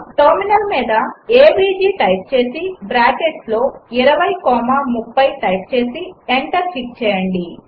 terminal మీద AVG type చేసి బ్రాకెట్స్లో 20 కామా 30 టైప్ చేసి ఎంటర్ హిట్ చేయండి